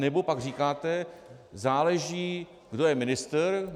Anebo pak říkáte, záleží, kdo je ministr.